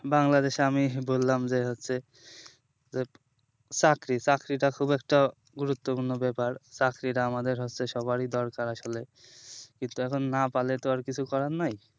বাংলাদেশে আমি বললাম যে হচ্ছে চাকরি চাকরিটা খুব একটা গুরুত্বপূর্ণ ব্যাপার চাকরিটা হচ্ছে আমাদের সবারির দরকার আসলে কিন্তু এখন না পালে তো আর কিছু করার নাই